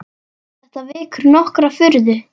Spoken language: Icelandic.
Þetta vekur nokkra furðu.